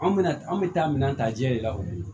Anw bɛna an bɛ taa minɛn ta ji de la o ye